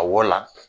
A wɔ la